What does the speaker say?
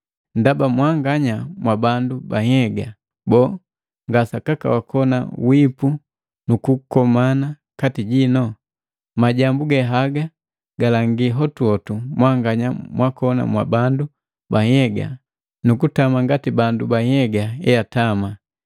Ndaba mwanganya mwa bandu ba nhyega. Boo, nga sakaka wakoni wipu nukukomana kati jino? Majambu haga galangi hotuhotu mwanganya mwakoni mwa bandu ba nhyega nu kutama nati bandu ba nhyega eatama.